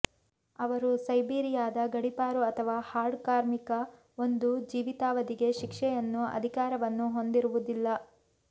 ಅವರು ಸೈಬೀರಿಯಾದ ಗಡಿಪಾರು ಅಥವಾ ಹಾರ್ಡ್ ಕಾರ್ಮಿಕ ಒಂದು ಜೀವಿತಾವಧಿಗೆ ಶಿಕ್ಷೆಯನ್ನು ಅಧಿಕಾರವನ್ನು ಹೊಂದಿರುವುದಿಲ್ಲ